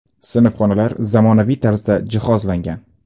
Sinfxonalar zamonaviy tarzda jihozlangan.